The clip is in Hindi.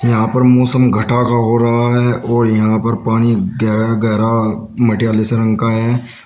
यहां पर मौसम घटा का हो रहा है और यहां पर पानी गहरा गहरा मटियाले से रंग का है।